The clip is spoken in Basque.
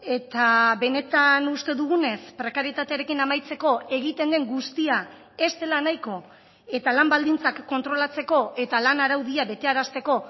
eta benetan uste dugunez prekarietatearekin amaitzeko egiten den guztia ez dela nahiko eta lan baldintzak kontrolatzeko eta lan araudia betearazteko